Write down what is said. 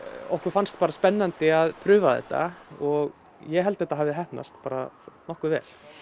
okkur fannst bara spennandi að prufa þetta og ég held að þetta hafi heppnast bara nokkuð vel